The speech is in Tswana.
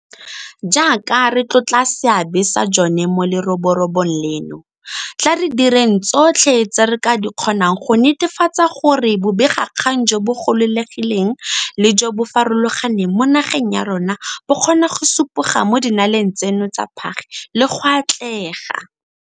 Jaaka re tlotla seabe sa jone mo leroborobong leno, tla re direng tsotlhe tse re ka di kgonang go netefatsa gore bobegakgang jo bo gololegileng le jo bo farologaneng mo nageng ya rona bo kgona go supoga mo dinaleng tseno tsa phage le go atlega.